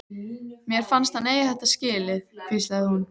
Mér fannst hann eiga þetta skilið- hvíslaði hún.